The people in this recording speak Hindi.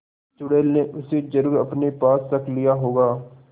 चुड़ैल ने उसे जरुर अपने पास रख लिया होगा